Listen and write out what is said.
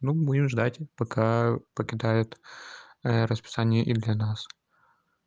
ну будем ждать пока покидают расписание и для нас